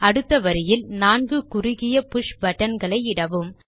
அடுத்த வரியில் 4 குறுகிய புஷ் buttonகளை இடவும்